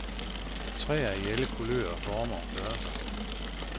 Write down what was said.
Træer i alle kulører, former og størrelser.